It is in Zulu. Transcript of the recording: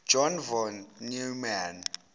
john von neumann